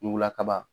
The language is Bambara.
Ɲugula kaba